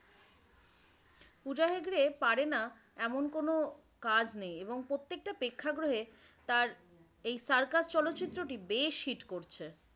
পূজা হেগড়ে পারে না এমন কোনো কাজ নেই এবং প্রত্যেকটা প্রেক্ষাগৃহে তার এই সার্কাস চলচ্চিত্রটি বেশ hit করছে।